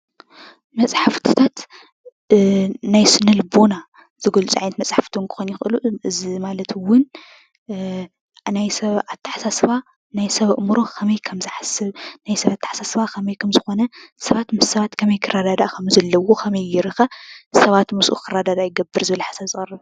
መፅሓፍትታት ናይ ስነ ልቦና ዝገልፁ ዓይነት መፃሕፍቲ እውን ክኾኑ ይኽእሉ፡፡ እዚ ማለት እውን ናይ ሰብ ኣተሓሳስባ፣ ናይ ሰብ ኣእምሮ ከመይ ከምዝሓስብ፣ ናይ ሰብ ኣተሓሳስባ ከመይ ከምዝኾነ፣ ሰባት ምስ ሰባት ከመይ ክረዳዳእ ከምዘለዎ፣ ከመይ ገይሩ ኸ ሰባት ምስኡ ክረዳዳእ ይገብር ዝብል ሓሳብ ዘቕርብ እዩ ።